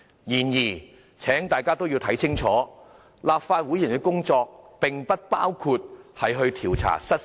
然而，請大家看清楚，立法會議員的工作不包括調查失竊案。